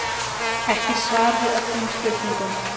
Ekki svar við öllum spurningum